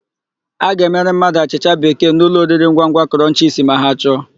A ga-emere mmadụ achịcha bekee n'ụlọoriringwangwa Krọnchisi ma ha chọọ.